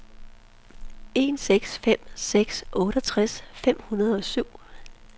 en seks fem seks otteogtres fem hundrede og syv